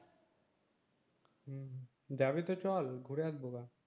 যাবি তো চল ঘুরে আসবো বার